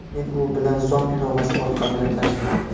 Men u bilan Zoom ilovasi orqali gaplashdim.